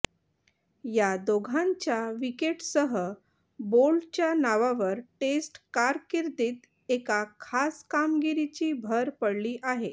या दोघांच्या विकेटसह बोल्टच्या नावावर टेस्ट कारकिर्दीत एका खास कामगिरीची भर पडली आहे